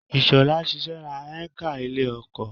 Ishola sẹ̀sẹ̀ ra hékà ilẹ̀ oko.